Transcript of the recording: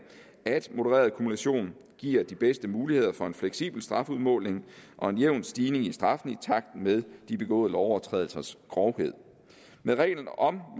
at modereret kumulation giver de bedste muligheder for en fleksibel strafudmåling og en jævn stigning i straffen i takt med de begåede lovovertrædelsers grovhed med reglen om